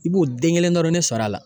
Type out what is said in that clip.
I b'o den kelen dɔrɔn de sɔrɔ a la.